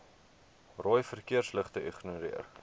rooi verkeersligte ignoreer